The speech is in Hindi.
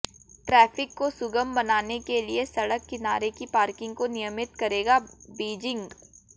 ट्रैफिक को सुगम बनाने के लिए सड़क किनारे की पार्किंग को नियमित करेगा बीजिंग